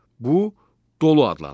Bu dolu adlanır.